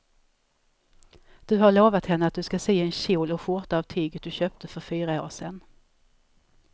Du har lovat henne att du ska sy en kjol och skjorta av tyget du köpte för fyra år sedan.